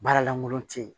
Baara lankolon te yen